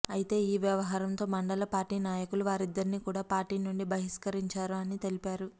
అయితే ఈ వ్యవహారం తో మండల పార్టీ నాయకులు వారిద్దరినీ కూడా పార్టీ నుండి బహిష్కరించారు అని తెలిపారు